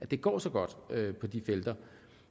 det går så godt på de felter